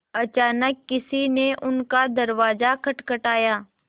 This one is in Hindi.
अचानक किसी ने उनका दरवाज़ा खटखटाया